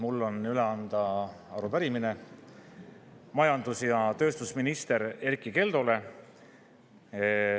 Mul on üle anda arupärimine majandus‑ ja tööstusminister Erkki Keldole.